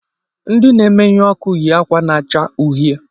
Ndị na-emeyu ọkụ yi ákwà na-acha uhie